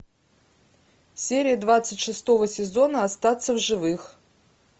серия двадцать шестого сезона остаться в живых